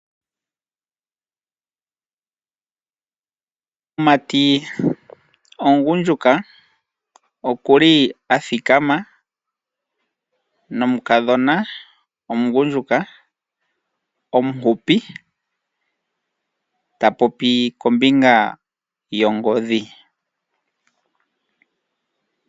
Omumati omugundjuka oku li a thikama nomukadhona omugundjuka omuhupi ta popi kombinga yongodhi.